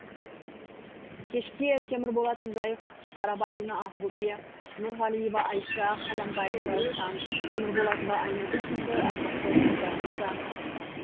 кешке темірболатов жайық қарабалина ақбөпе нұрғалиева айша қаламбаева раушан темірболатова айнагүл сынды ардақты ұстаздарымыз да қатысты